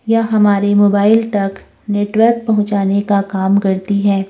यह हमारे मोबाइल तक नेटवर्क पहुंचाने का काम करती है।